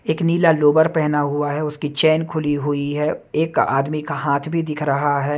एक नीला लोवर पहना हुआ है उसकी चैन खुली हुई है एक आदमी का हाथ भी दिख रहा है।